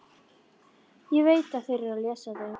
Ég veit að þeir lesa þau.